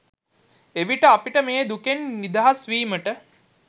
එවිට අපිට මේ දුකෙන් නිදහස්වීමට